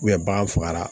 bagan fagara